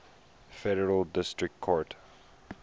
federal district court